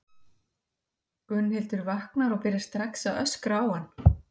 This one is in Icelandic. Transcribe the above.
Gunnhildur vaknar og byrjar strax að öskra á hann.